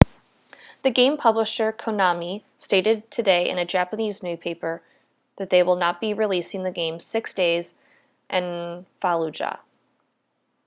the game publisher konami stated today in a japanese newspaper that they will not be releasing the game six days in fallujah